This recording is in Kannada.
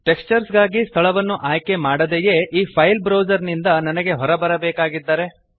ಟೆಕ್ಸ್ಚರ್ಸ್ ಗಾಗಿ ಸ್ಥಳವನ್ನು ಆಯ್ಕೆ ಮಾಡದೆಯೇ ಈ ಫೈಲ್ ಬ್ರೌಜರ್ ನಿಂದ ನನಗೆ ಹೊರಗೆ ಬರಬೇಕಾಗಿದ್ದರೆ